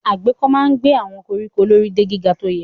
Agéko máa ń gé àwọn koríko lórí de gíga tó yẹ.